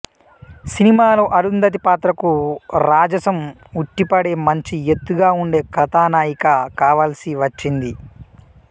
సినిమాలో అరుంధతి పాత్రకు రాజసం ఉట్టిపడే మంచి ఎత్తుగా ఉండే కథానాయిక కావాల్సివచ్చింది